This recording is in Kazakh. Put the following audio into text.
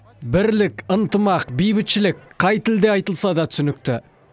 бірлік ынтымақ бейбітшілік қай тілде айтылса да түсінікті